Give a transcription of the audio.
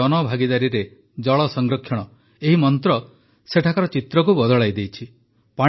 ଏବେ ଜନଭାଗିଦାରୀରେ ଜଳ ସଂରକ୍ଷଣ ଏହି ମନ୍ତ୍ର ସେଠାକାର ଚିତ୍ରକୁ ବଦଳାଇ ଦେଇଛି